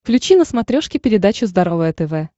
включи на смотрешке передачу здоровое тв